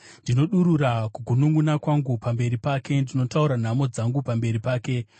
Ndinodurura kugununʼuna kwangu pamberi pake; ndinotaura nhamo dzangu pamberi pake.